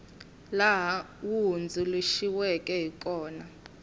laha wu hundzuluxiweke hi kona